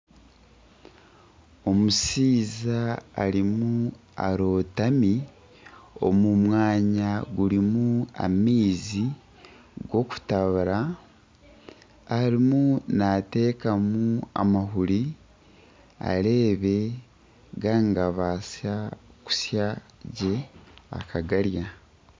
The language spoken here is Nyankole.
Omushaija arimu arotami omu mwanya gurimu amaizi gakutabura arimu natekamu amahuri areebe gaba nigabaasa kusya gye akagarya.